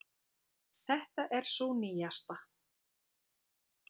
Þetta er sú nýjasta.